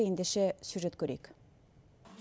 ендеше сюжет көрейік